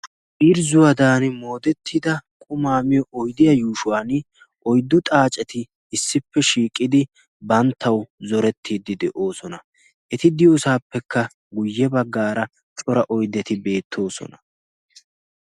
Irzzuwaadan moodettida qumaa miyo oydiya yuushuwan oyddu xaaceti issippe shiiqidi banttau zorettiiddi de'oosona. eti diyoosaappekka guyye baggaara cora oyddeti beettoosona.